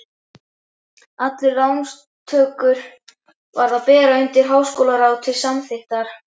Allar lántökur varð að bera undir háskólaráð til samþykktar.